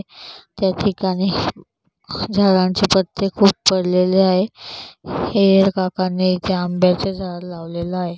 त्या ठिकाणी झाडांचे पत्ते खूप पडलेले आहेत हे काकांनी ते आंब्याचे झाड लावलेला आहे.